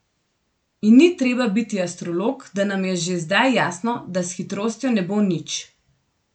In ni treba biti astrolog, da nam je že zdaj jasno, da s hitrostjo ne bo nič.